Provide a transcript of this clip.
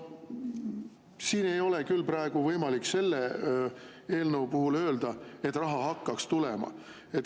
Siin ei ole küll praegu võimalik selle eelnõu puhul öelda, et raha hakkab tulema.